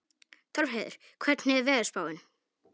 Torfheiður, hvernig er veðurspáin?